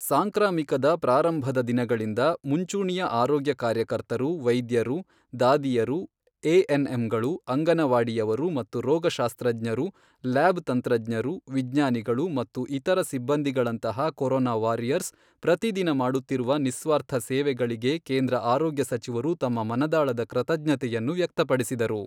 ಸಾಂಕ್ರಾಮಿಕದ ಪ್ರಾರಂಭದ ದಿನಗಳಿಂದ ಮುಂಚೂಣಿಯ ಆರೋಗ್ಯ ಕಾರ್ಯಕರ್ತರು ವೈದ್ಯರು, ದಾದಿಯರು, ಎಎನ್ಎಂಗಳು, ಅಂಗನವಾಡಿಯವರು ಮತ್ತು ರೋಗಶಾಸ್ತ್ರಜ್ಞರು, ಲ್ಯಾಬ್ ತಂತ್ರಜ್ಞರು, ವಿಜ್ಞಾನಿಗಳು ಮತ್ತು ಇತರ ಸಿಬ್ಬಂದಿಗಳಂತಹ ಕೊರೊನಾ ವಾರಿಯರ್ಸ್ ಪ್ರತಿದಿನ ಮಾಡುತ್ತಿರುವ ನಿಸ್ವಾರ್ಥ ಸೇವೆಗಳಿಗೆ ಕೇಂದ್ರ ಆರೋಗ್ಯ ಸಚಿವರು ತಮ್ಮ ಮನದಾಳದ ಕೃತಜ್ಞತೆಯನ್ನು ವ್ಯಕ್ತಪಡಿಸಿದರು.